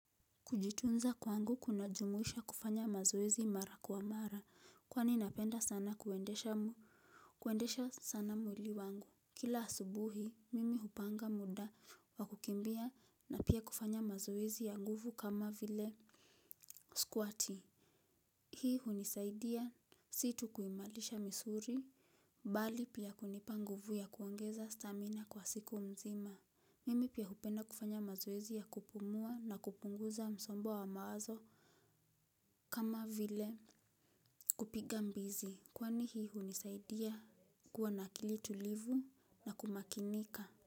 Kujitunza kwangu kunajumuisha kufanya mazoezi mara kwa mara kwani napenda sana kuendesha sana mwili wangu. Kila asubuhi mimi hupanga muda wa kukimbia na pia kufanya mazoezi ya nguvu kama vile Squating, hii hunisaidia si tu kuimarisha misuli bali pia kunipa nguvu ya kuongeza stamina kwa siku mzima. Mimi pia hupenda kufanya mazoezi ya kupumua na kupunguza msongo wa mawazo kama vile kupiga mbizi kwani hii hunisaidia kuwa na akili tulivu na kumakinika.